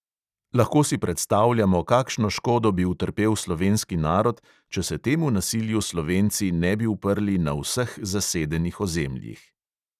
Lahko si predstavljamo, kakšno škodo bi utrpel slovenski narod, če se temu nasilju slovenci ne bi uprli na vseh zasedenih ozemljih.